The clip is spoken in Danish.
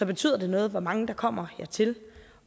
betyder det noget hvor mange der kommer hertil